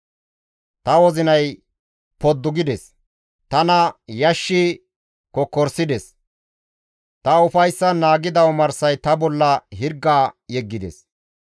Ta wozinay poddu gides; tana yashshi kokkorisides; ta ufayssan naagida omarsay ta bolla hirga yeggides.